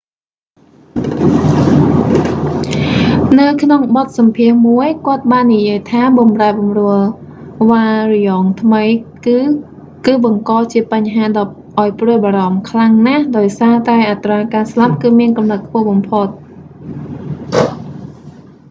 នៅក្នុងបទសម្ភាសន៍មួយ គាត់បាននិយាយថាបម្រែបម្រួលវ៉ារ្យង់ថ្មីគឺ គឺបង្កជាបញ្ហាដ៏ឱ្យព្រួយបារម្ភខ្លាំងណាស់ដោយសារតែអត្រាការស្លាប់គឺមានកម្រិតខ្ពស់បំផុត